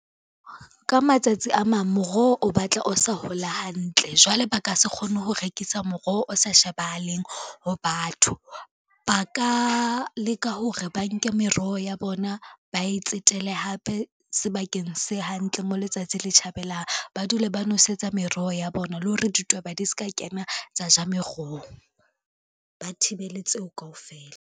Ka matsatsi a mang moroho o batla o sa hola hantle jwale ba ka se kgone ho rekisa moroho o sa shebahaleng ho batho. Ba ka leka hore ba nke meroho ya bona ba e tsetele hape sebakeng se hantle mo letsatsi le tjhabelang, ba dule ba nwesetsa meroho ya bona le hore ditweba di ska kena tsa ja meroho, ba thibele tseo kaofela.